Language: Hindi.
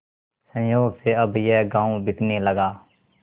संयोग से अब यह गॉँव बिकने लगा